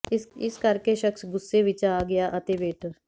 ਇਸ ਕਰਕੇ ਸ਼ਖਸ ਗ਼ੁੱਸੇ ਵਿੱਚ ਆ ਗਿਆ ਅਤੇ ਵੇਟਰ